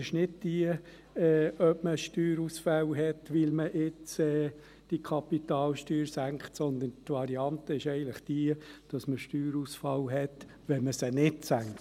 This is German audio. Die Variante ist nicht, ob man Steuerausfälle hat, weil man die Kapitalsteuer senkt, sondern die Variante ist eigentlich die, dass man Steuerausfälle hat, wenn man diese nicht senkt.